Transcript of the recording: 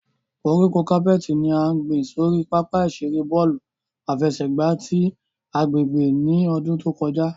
Koríko capeti ni a gbin sori papa-iṣere bọọlu afẹsẹgba ti agbegbe ni ọdun to kọja.